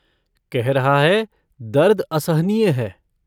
कह रहा है दर्द असहनीय है।